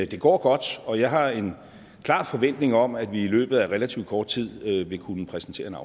det går godt og jeg har en klar forventning om at vi i løbet af relativt kort tid vil kunne præsentere